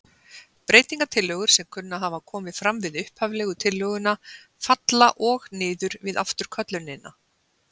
Breytingatillögur sem kunna að hafa komið fram við upphaflegu tillöguna falla og niður við afturköllunina.